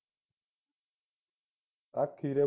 ਆ ਖੀਰੇ ਖੂਰੇ ਦੀ